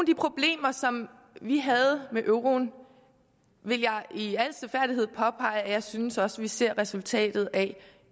de problemer som vi havde med euroen vil jeg i al stilfærdighed påpege jeg synes vi også ser resultatet af